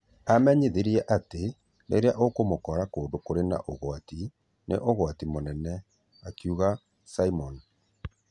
Amenyithirie atĩ rĩrĩa wamũkora kũndũ kũrĩ na ũgwati, nĩ ũgwati mũnene,' akiuga Simon.